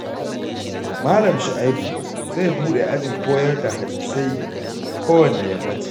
Malam Shu'aibu zai buɗe ajin koyar da hadisai kowanne yammaci